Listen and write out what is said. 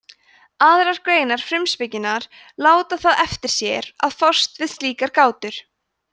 aðrar greinar frumspekinnar láta það eftir sér að fást við slíkar gátur